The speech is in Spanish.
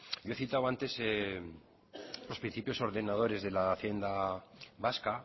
yo he citado antes los principios ordenadores de la hacienda vasca